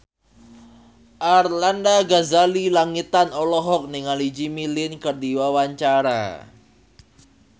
Arlanda Ghazali Langitan olohok ningali Jimmy Lin keur diwawancara